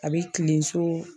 A be kilen so